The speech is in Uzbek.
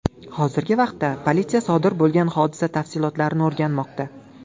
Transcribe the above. Hozirgi vaqtda politsiya sodir bo‘lgan hodisa tafsilotlarini o‘rganmoqda.